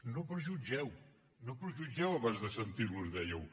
no prejutgeu no prejutgeu abans de sentir lo dèieu